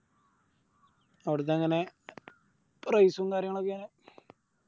അവിടുത്തെ എങ്ങനെ Price ഉം കാര്യങ്ങളൊക്കെ എങ്ങനെ